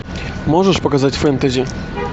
можешь показать фэнтези